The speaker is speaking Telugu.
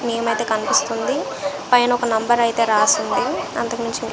నేమ్ అయితే కనిపిస్తుంది పైన ఒక నెంబర్ అయితే రాసింది అంతకుమించి --